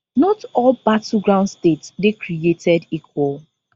not all battleground states dey created equal